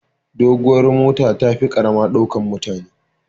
Duguwar mota tafi karama ɗaukan mutane